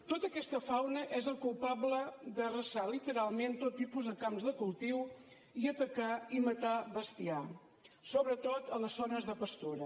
tota aquesta fauna és la culpable d’arrasar literalment tot tipus de camps de cultiu i d’atacar i matar bestiar sobretot a les zones de pastura